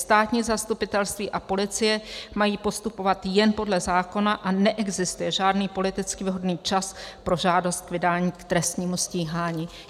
Státní zastupitelství a policie mají postupovat jen podle zákona a neexistuje žádný politicky vhodný čas pro žádost k vydání k trestnímu stíhání."